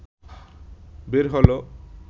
বের হলো